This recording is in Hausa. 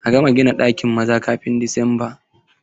A gama gina ɗakin maza kafin Disamba!